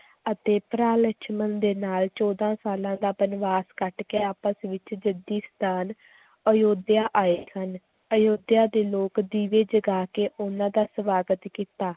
ਅਤੇ ਭਰਾ ਲਛਮਣ ਦੇ ਨਾਲ ਚੌਦਾਂ ਸਾਲਾਂ ਦਾ ਬਨਵਾਸ ਕੱਟ ਕੇ ਆਪਸ ਵਿੱਚ ਜੱਦੀ ਸਥਾਨ ਅਯੋਧਿਆ ਆਏ ਸਨ, ਅਯੋਧਿਆ ਦੇ ਲੋਕ ਦੀਵੇ ਜਗਾ ਕੇ ਉਹਨਾਂ ਦਾ ਸਵਾਗਤ ਕੀਤਾ,